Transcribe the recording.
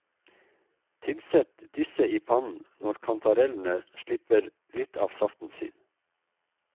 Tilsett disse i pannen når kantarellene slipper litt av saften sin.